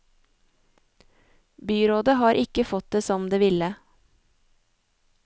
Byrådet har ikke fått det som det ville.